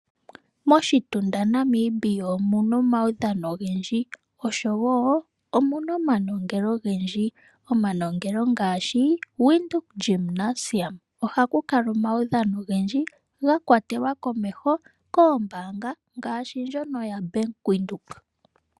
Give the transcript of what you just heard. Moshitunda Namibia omuna omaudhano ogendji oshowo omuna omanongelo ogendji. Omanongelo ngaashi Widhoek Gynasium ohaku kala omaudhano ogendji gakwatelwa komeho koombaanga ngaashi ndjono yo Bank Windhoek.